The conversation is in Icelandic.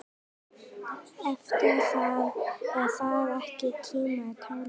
Er það ekki tímanna tákn?